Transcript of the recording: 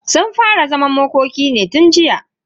Sun fara zaman makoki ne tun jiya.